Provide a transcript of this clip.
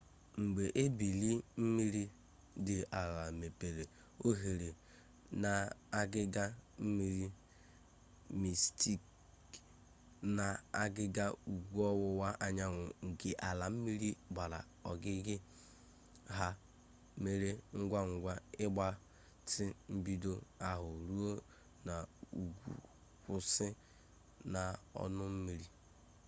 mgbe ebili mmiri dị ala mepere oghere n'agịga mmiri mistik n'agịga ugwu ọwụwa anyanwụ nke ala mmiri gbara ogige ha mere ngwangwa ịgbatị mgbidi ahụ ruo n'ugwu kwụsị n'ọnụ mmiri